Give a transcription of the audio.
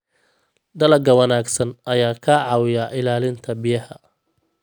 Dalagga ka wanaagsan ayaa ka caawiya ilaalinta biyaha.